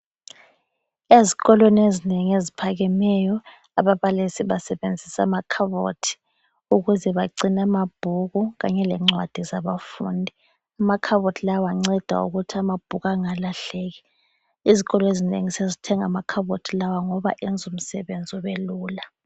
Ezikolweni ezinengi eziphakemeyo ababalisi basebenzisa amakhabothi ukuze bagcine amabhuku kanye le ncwadi zabafundi. Amakhabothi lawa anceda ukuthi amabhuku engalahleki. Izikolo ezinengi sezithenga amakhabothi lawa ngoba ayenza umsebenzi ubelula.